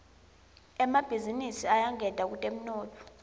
emabhizinisi ayangeta kutemnotfo